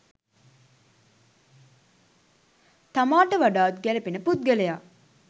තමාට වඩාත් ගැලපෙන පුද්ගලයා